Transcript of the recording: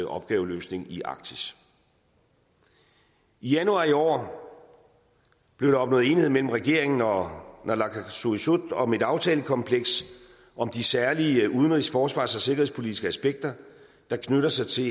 opgaveløsning i arktis i januar i år blev der opnået enighed mellem regeringen og naalakkersuisut om et aftalekompleks om de særlige udenrigs forsvars og sikkerhedspolitiske aspekter der knytter sig til